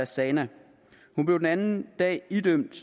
zana hun blev den anden dag idømt